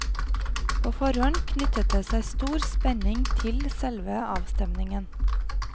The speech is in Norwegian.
På forhånd knyttet det seg stor spenning til selve avstemningen.